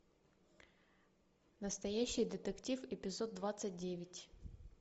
настоящий детектив эпизод двадцать девять